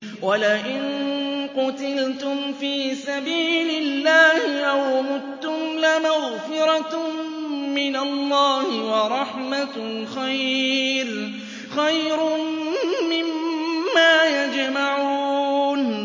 وَلَئِن قُتِلْتُمْ فِي سَبِيلِ اللَّهِ أَوْ مُتُّمْ لَمَغْفِرَةٌ مِّنَ اللَّهِ وَرَحْمَةٌ خَيْرٌ مِّمَّا يَجْمَعُونَ